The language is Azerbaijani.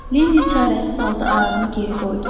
Linni çarəsiz halda ayağını geri qoydu.